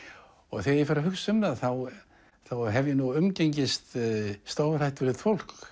þegar ég fer að hugsa um það hef ég umgengist stórhættulegt fólk